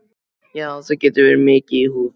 Já, það getur verið mikið í húfi.